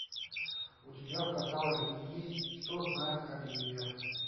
у тебя в каталоге есть что знает оливия